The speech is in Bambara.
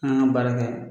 An kan ka baara kɛ